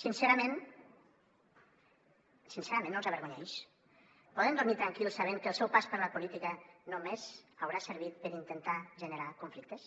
sincerament sincerament no els avergonyeix poden dormir tranquils sabent que el seu pas per la política només haurà servit per intentar generar conflictes